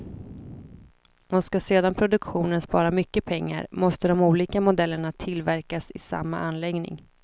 Och ska sedan produktionen spara mycket pengar måste de olika modellerna tillverkas i samma anläggning.